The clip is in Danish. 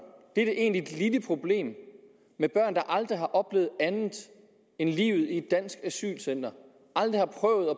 dette egentlige lille problem der aldrig har oplevet andet end livet i et dansk asylcenter aldrig har prøvet